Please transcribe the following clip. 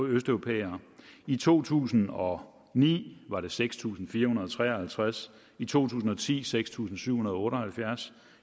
østeuropæere i to tusind og ni var der seks tusind fire hundrede og tre og halvtreds i to tusind og ti seks tusind syv hundrede og otte og halvfjerds